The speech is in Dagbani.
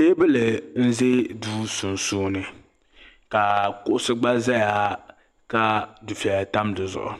Teebuli n ʒɛ duu sunsuuni ka kuɣisi gbaʒɛya ka dufɛya tam dizuɣu